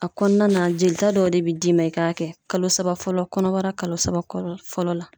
A kɔnɔna na jelita dɔ de b d'i ma i k'a kɛ kalo saba fɔlɔ kɔnɔ .Kɔnɔbara kalo saba fɔlɔ la.